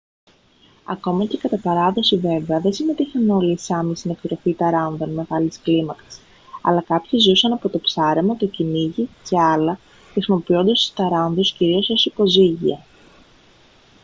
ακόμα και κατά παράδοση βέβαια δεν συμμετείχαν όλοι οι σάμι στην εκτροφή ταράνδων μεγάλης κλίμακας αλλά κάποιοι ζούσαν από το ψάρεμα το κυνήγι και άλλα χρησιμοποιώντας τους ταράνδους κυρίως ως υποζύγια